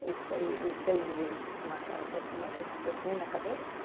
os seis os seis livros que te marcaram profundamente, você tem na cabeça?